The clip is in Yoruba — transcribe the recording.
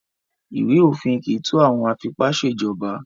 Ìwé-òfin kì í tó àwọn afipá-ṣèjọba.